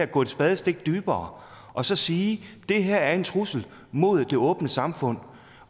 gå et spadestik dybere og så sige det her er en trussel mod det åbne samfund